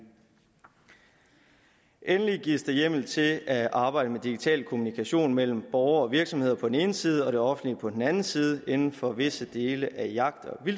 endelig gives der hjemmel til at arbejde med digital kommunikation mellem borgere og virksomheder på den ene side og det offentlige på den anden side inden for visse dele af jagt